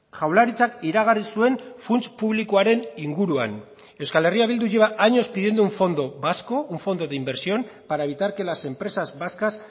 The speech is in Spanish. jaurlaritzak iragarri zuen funts publikoaren inguruan euskal herria bildu lleva años pidiendo un fondo vasco un fondo de inversión para evitar que las empresas vascas